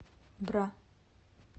бра